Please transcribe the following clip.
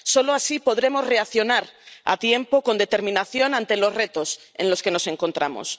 Solo así podremos reaccionar a tiempo, con determinación frente a los retos ante los que nos encontramos.